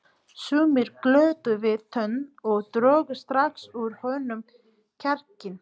Sumir glottu við tönn og drógu strax úr honum kjarkinn.